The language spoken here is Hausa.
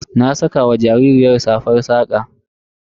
Na saka ma jaririyar safar saƙa.